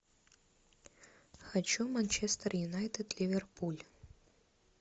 хочу манчестер юнайтед ливерпуль